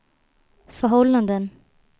förhållanden